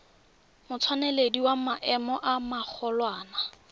motseneledi wa maemo a magolwane